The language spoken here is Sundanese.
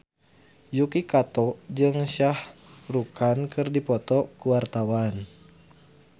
Yuki Kato jeung Shah Rukh Khan keur dipoto ku wartawan